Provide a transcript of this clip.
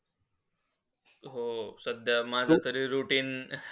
हो, सध्या माझातरी routine